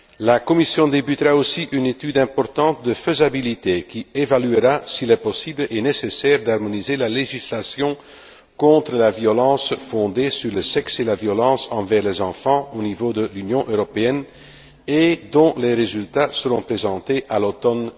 La Commission débutera aussi une étude importante de faisabilité qui évaluera s'il est possible et nécessaire d'harmoniser la législation contre la violence fondée sur le sexe et la violence envers les enfants au niveau de l'Union européenne, dont les résultats seront présentés à l'automne